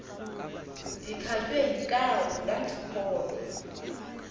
ndikhatywe yinkawu ndandikholwa